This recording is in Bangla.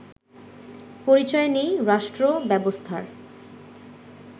পরিচয় নেই রাষ্ট্রব্যবস্থার